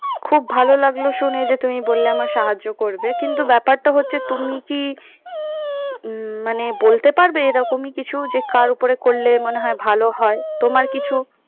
খুব ভালো লাগলো শুনে যে তুমি বললে আমায় সাহায্য করবে, কিন্তু ব্যাপারটা হচ্ছে তুমি কি উম মানে বলতে পারবে এরকমই কিছু যে কার উপরে করলে মনে হয় ভালো হয়। তোমার কিছু